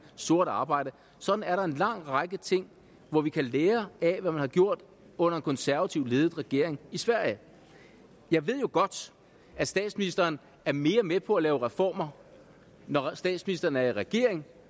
sort arbejde sådan er der en lang række ting hvor vi kan lære af hvad man har gjort under en konservativt ledet regering i sverige jeg ved jo godt at statsministeren er mere med på at lave reformer når statsministeren er i regering